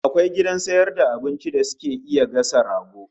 Akwai gidan sayar da abincin da suke iya gasa rago?